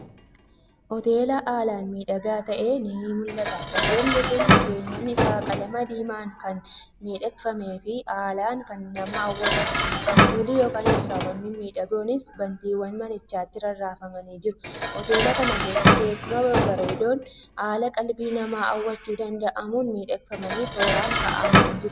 Hoteela haalan miidhagaa ta'ee ni mul'ataa. Hoteelli kun, kenyaan isaa qaalama diiman kan miidhagfamef haalan kan nama hawwatu, Ampooli(ibsawwaan) mimmidhagoonnis, bantiwwan manichaatti rarrafamanii jiru. Hoteela kana keessa tessuuma babbareedoon haala qalbii namaa hawwachuu danda'amuun miidhegfaamanii tooran ka'aamanii jiru.